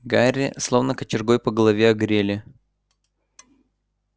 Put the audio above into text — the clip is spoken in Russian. гарри словно кочергой по голове огрели